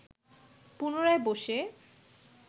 পুনরায় বসে